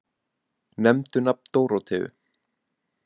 Nefndu nafn Dóróteu.